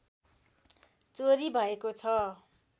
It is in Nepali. चोरी भएको छ